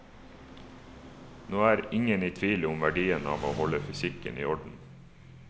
Nå er ingen i tvil om verdien av å holde fysikken i orden.